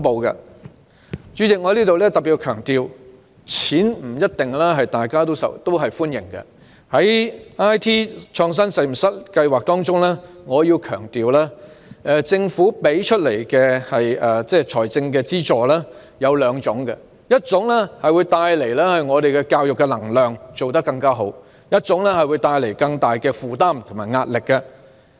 代理主席，我再特別強調，大家不一定歡迎撥款，在"中學 IT 創新實驗室"計劃下，政府提供的財政資助有兩種，一種會帶來教育能量，做得更好，令一種則會帶來更大的負擔及壓力。